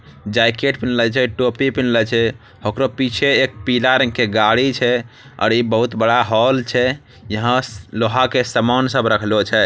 जैकेट पिन्हलै छे टोपी पिन्हलै छे ओकरो पीछे एक पीला रंग के गाड़ी छे और इ बहुत बड़ा हॉल छे यहाँ स लोहा के समान सब रखलो छै ।